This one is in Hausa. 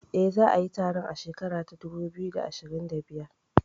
Eh, za a yi taron a shekara ta dubu biyu da ashirin da biyar